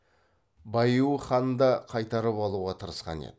баиу хан да қайтарып алуға тырысқан еді